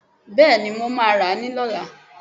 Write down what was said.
Bẹ́ẹ̀ni, mo ma ra ni lọ́la